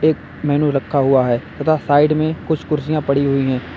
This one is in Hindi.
एक मैन्यू रखा हुआ है तथा साइड में कुछ कुर्सियां पड़ी हुई हैं।